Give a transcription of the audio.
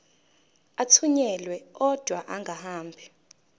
athunyelwa odwa angahambi